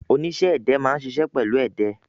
Oníṣẹ́-ẹdẹ máa ń ṣiṣẹ́ pẹ̀lú ẹdẹ.